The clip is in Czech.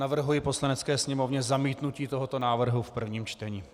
Navrhuji Poslanecké sněmovně zamítnutí tohoto návrhu v prvním čtení.